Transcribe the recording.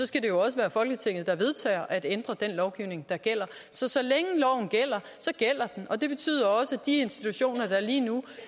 skal det jo også være folketinget der vedtager at ændre den lovgivning der gælder så så længe loven gælder gælder den og det betyder også at de institutioner der lige nu